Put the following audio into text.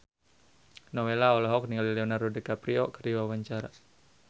Nowela olohok ningali Leonardo DiCaprio keur diwawancara